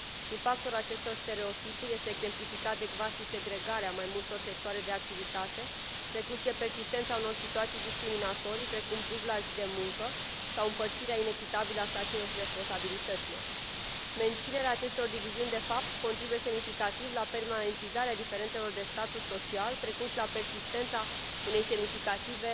Impactul acestor stereotipuri este exemplificat de cvasisegregarea mai multor sectoare de activitate, precum și de persistența unor situații discriminatorii, precum dubla zi de muncă sau împărțirea inechitabilă a sarcinilor și responsabilităților. Menținerea acestor diviziuni, de fapt, contribuie semnificativ la permanentizarea diferențelor de status social, precum și la persistența unei semnificative